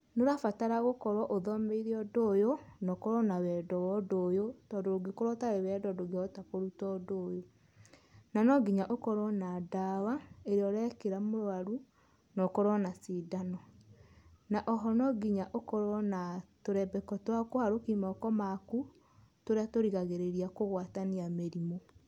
Nĩ ũrabatara gũkorwo ũthomeire ũndũ ũyũ na ũkorwo na wendo wa ũndũ ũyũ tondũ ũngĩkorwo ũtari wendo ndũngĩhota kũrũta ũndũ ũyũ. Na nongĩnya ũkorwo na ndawa ĩrĩa ũrekĩra mũrwarũ na ũkorwo na cindano. Na oho no ngĩnya ũkorwo na tũrembeko twa kũharũkia moko makũ, tũrĩa tũrigagĩrĩria kũgwatanĩa mĩrĩmũ.